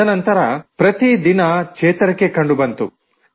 ತದನಂತರ ಪ್ರತಿದಿನ ಚೇತರಿಕೆ ಕಂಡುಬಂತು